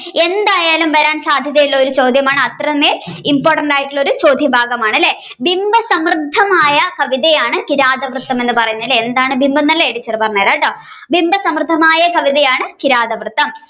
എന്തായാലും വരാൻ സാധ്യത ഉള്ള ചോദ്യമാണ് അത്രമേൽ important ആയിട്ടുള്ള ചോദ്യഭാഗമാണ് അല്ലെ ബിംബസമൃദ്ധമായ കവിതയാണ് കിരാതവൃത്തം എന്ന് പറയുന്നത് എന്താണ് ബിംബം എന്നല്ലേ ടീച്ചർ പറഞ്ഞുതരാട്ടോ ബിംബസമൃദ്ധമായ കവിതയാണ് കിരാതവൃത്തം.